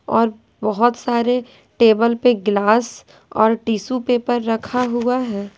और बहुत सारे टेबल पर ग्लास और टिशू पेपर रखा हुआ है।